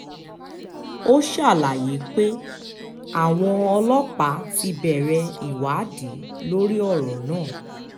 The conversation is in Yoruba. ó ṣàlàyé pé àwọn ọlọ́pàá ti bẹ̀rẹ̀ ìwádìí lórí ọ̀rọ̀ náà